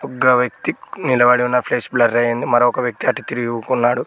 ఒగ్గ వ్యక్తి నిలబడి ఉన్న ఫ్లేస్ బ్లర్ అయింది మరొక వ్యక్తి అటు తిరిగి ఊకున్నాడు.